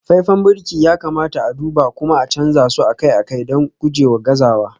faifan birki ya kamata a duba kuma a canza su akai-akai don gujewa gazawa